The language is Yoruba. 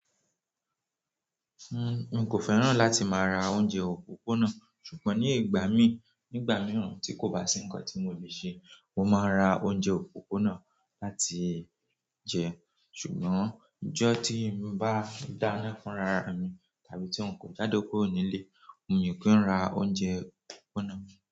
N kò fẹ́ràn láti máa ra oúnjẹ òpópónà, ṣùgbọ́n ní ìgbà mí, nígbà mìíràn tí kò bá sí nǹkan tí mo lè ṣe, mo máa n ra oúnjẹ òpópónà láti jẹ. Ṣùgbọ́n ọjọ́ tí n bá dáná fúnrara mi tàbí tí n kò jáde kúrò nílé, n yóò kí n ra oúnjẹ òpópónà.